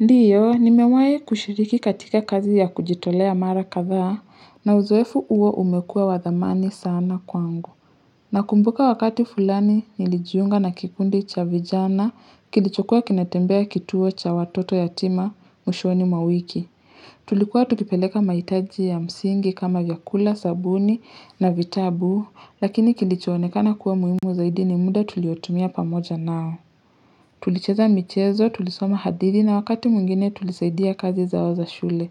Ndiyo, nimewai kushiriki katika kazi ya kujitolea mara kadhaa na uzoefu huo umekuwa wa dhamani sana kwangu. Nakumbuka wakati fulani nilijunga na kikundi cha vijana, kilichokuwa kinatembea kituo cha watoto yatima, mwishoni mwa wiki. Tulikuwa tukipeleka mahitaji ya msingi kama vyakula, sabuni na vitabu, lakini kilichoonekana kuwa muhimu zaidi ni muda tuliotumia pamoja nao. Tulicheza michezo, tulisoma hadithi na wakati mwingine tulisaidia kazi zao za shule.